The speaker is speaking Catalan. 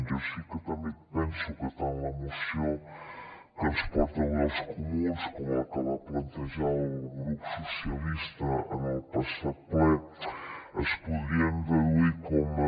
jo sí que també penso que tant la moció que ens porten avui els comuns com la que va plantejar el grup socialistes en el passat ple es podrien reduir com a